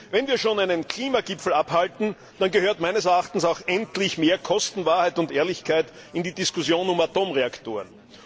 Wenn wir schon einen Klimagipfel abhalten, dann gehört meines Erachtens auch endlich mehr Kostenwahrheit und Ehrlichkeit in die Diskussion um Atomreaktoren.